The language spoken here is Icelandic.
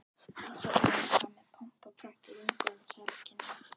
Árshátíðin fór fram með pomp og prakt í rúmgóðum salarkynnum